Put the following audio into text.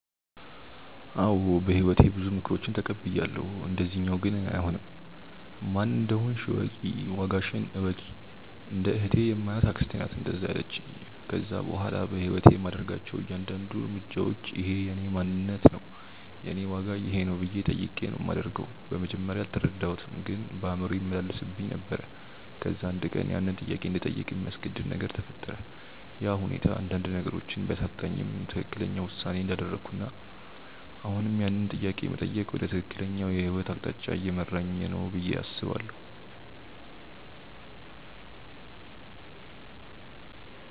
አዎ በህይወቴ ብዙ ምክሮችን ተቀብያለው፣ እንደዚኛው ግን አይሆንም። "ማን እንደሆንሽ እወቂ፣ ዋጋሽን እወቂ"። እንደ እህቴ የማያት አክስቴ ናት እንደዛ ያለቺኝ። ከዛ በኋላ በህይወቴ የማደርጋቸው እያንዳድንዱ እርምጃዎች" እኼ የእኔ ማንነት ነው? የኔ ዋጋ ይኼ ነው?" ብዬ ጠይቄ ነው ማደርገው። በመጀመርያ አልተረዳሁትም ግን በአእምሮዬ ይመላለስብኝ ነበር። ከዛ አንድ ቀን ያንን ጥያቄ እንድጠይቅ የሚያስገድድ ነገር ተፈጠረ፤ ያ ሁኔታ አንዳንድ ነገሮችን ቢያሳጣኝም ትክክለኛው ውሳኔ እንዳደረኩና አሁንም ያንን ጥያቄ መጠየቅ ወደ ትክክለኛው የህይወት አቅጣጫ እየመራኝ ነው ብዬ አስባለው።